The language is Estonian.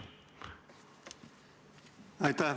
Aitäh!